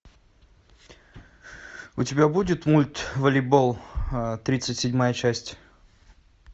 у тебя будет мульт волейбол тридцать седьмая часть